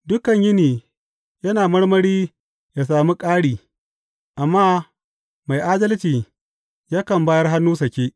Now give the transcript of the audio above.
Dukan yini yana marmari ya sami ƙari, amma mai adalci yakan bayar hannu sake.